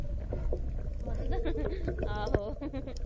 ਮੰਦਰ ਆਹੋ